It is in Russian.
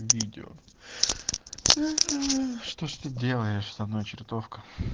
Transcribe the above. видео что ж ты делаешь со мной чертовка